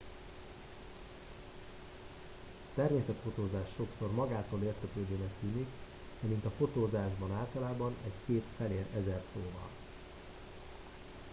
a természetfotózás sokszor magától értetődőnek tűnik de mint a fotózásban általában egy kép felér ezer szóval